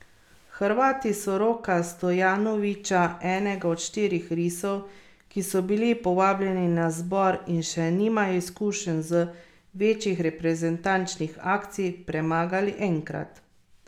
Hrvati so Roka Stojanoviča, enega od štirih risov, ki so bili povabljeni na zbor in še nimajo izkušenj z večjih reprezentančnih akcij, premagali enkrat.